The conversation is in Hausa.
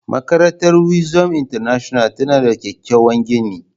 Makarantar Wisdom International tana da kyakkyawan gini.